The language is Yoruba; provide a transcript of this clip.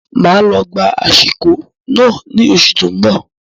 Máa lọ gba ashiko náà ní oṣù tó n bọ